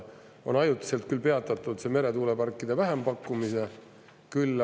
Ajutiselt on küll peatatud meretuuleparkide vähempakkumise.